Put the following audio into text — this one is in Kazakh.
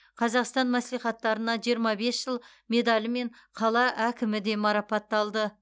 қазақстан мәслихаттарына жиырма бес жыл медалімен қала әкімі де марапатталды